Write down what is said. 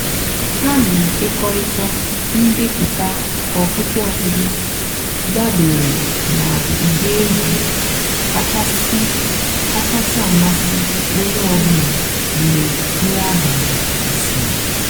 há nà-ékékọ̀rị́tá ǹdèpụ́tá ọ̀kpụ́kpọ́ ọ̀kpụ́kpọ́ dàbèré nà ụ́dị́ ègwú kàchàsị́ àmásị́ ónyé ọ̀ bụ́là mg̀bé nrí àbàlí gàsị́rị́.